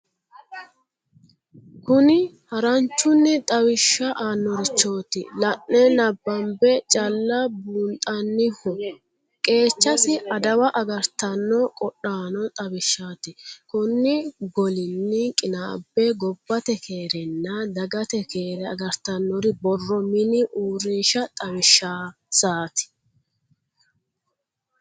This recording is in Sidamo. Kuni haranchunni xawisha aanorichoti la'ne nabbambe calla buunxaniho qeechasi, adawa agartano godhaano xawishati, koni golini qiinabbe gobbate keerenna dagate keere agartanori borro mini uurrinsha xawishansati.